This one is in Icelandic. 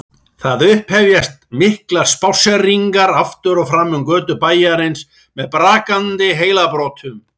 Það upphefjast miklar spásseringar aftur og fram um götur bæjarins með brakandi heilabrotum.